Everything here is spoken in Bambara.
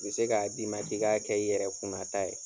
U bɛ se k'a d'i ma k'i k'a kɛ i yɛrɛ kunnata ye.